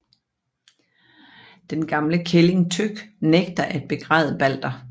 Den gamle kælling Tøkk nægter at begræde Balder